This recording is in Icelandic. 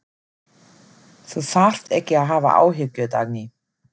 Þú þarft ekki að hafa áhyggjur, Dagný.